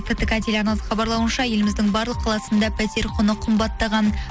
ктк телеарнасының хабарлауынша еліміздің барлық қаласында пәтер құны қымбаттаған